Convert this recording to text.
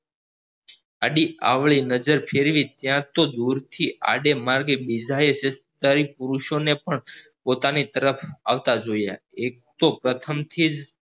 આડીઅવળી નજર ફેરવી ત્યાં તો દૂરથી આડે માર્ગે બીજા એ સત્કારી પુરુસો ને પણ પોતાની તરફ આવતા જોયા એક તો પ્રથમ થીજ